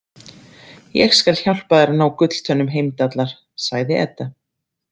Ég skal hjálpa þér að ná gulltönnum Heimdallar, sagði Edda.